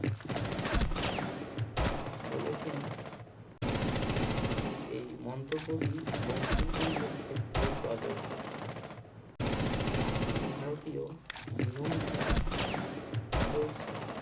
বলেছেন এই মন্তব্যটি বঙ্কিমচন্দ্রের ক্ষেত্রে প্রযোজ্য। প্রাচীন ভারতীয় জীবন ধারার আদর্শে